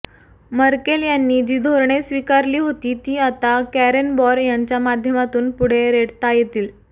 Merkel यांनी जी धोरणे स्वीकारली होती ती आता कॅरेनबॉर यांच्या माध्यमातून पुढे रेटता येतील